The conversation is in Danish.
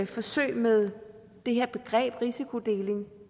forsøg med det her begreb risikodeling